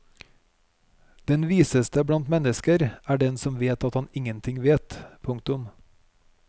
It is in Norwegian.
Den viseste blant mennesker er den som vet at han ingenting vet. punktum